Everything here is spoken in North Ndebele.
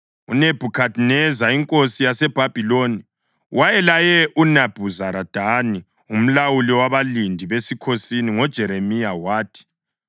UNebhukhadineza inkosi yaseBhabhiloni wayelaye uNebhuzaradani umlawuli wabalindi besikhosini ngoJeremiya wathi,